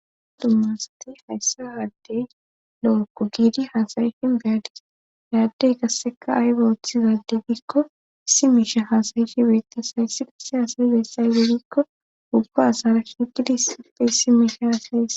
Dumma asati hayssa aaddey lo7ookko giidi haasayishin beyadis ayaaddey qasseka ayba hoththizade gikko si mishe hasayishi bettis hayssi qasse haasayibeyssay gegikko ubba asara shigidi sipphey si mishe haasaye.